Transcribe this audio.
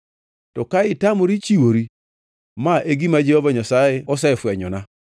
To ka itamori chiwori, ma e gima Jehova Nyasaye osefwenyona: